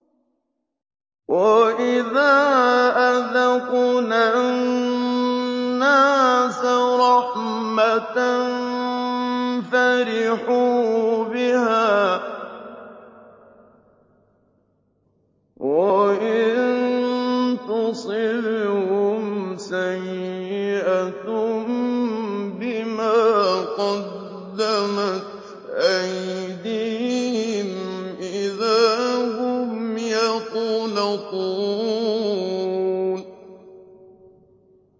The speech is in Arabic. وَإِذَا أَذَقْنَا النَّاسَ رَحْمَةً فَرِحُوا بِهَا ۖ وَإِن تُصِبْهُمْ سَيِّئَةٌ بِمَا قَدَّمَتْ أَيْدِيهِمْ إِذَا هُمْ يَقْنَطُونَ